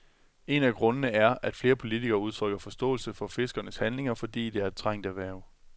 En af grundene er, at flere politikere udtrykker forståelse for fiskernes handlinger, fordi det er et trængt erhverv.